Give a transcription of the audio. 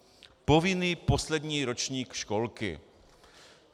Povinný poslední ročník školky.